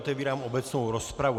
Otevírám obecnou rozpravu.